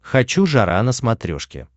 хочу жара на смотрешке